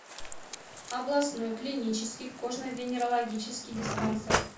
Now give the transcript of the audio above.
областной клинический кожно венерологический диспансер